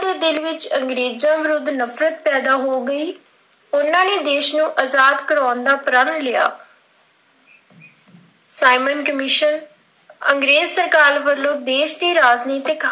ਉਹਨਾਂ ਦੇ ਦਿਲ ਵਿੱਚ ਅੰਗਰੇਜ਼ਾਂ ਦੇ ਵਿੱਰੁਧ ਨਫ਼ਰਤ ਪੈਦਾਂ ਹੋ ਗਈ, ਉਹਨਾਂ ਨੇ ਦੇਸ਼ ਆਜ਼ਾਦ ਕਰਾਉਣ ਦਾ ਪ੍ਰਣ ਲਿਆ। ਸਾਈਂਮਨ ਕਮਿਸ਼ਨ, ਅੰਗਰੇਜ਼ ਸਰਕਾਰ ਵੱਲੋਂ ਦੇਸ਼ ਦੀ ਰਾਜਨਿਤਕ ਹਾਲਤ,